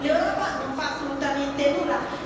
L'Europa non fa assolutamente nulla.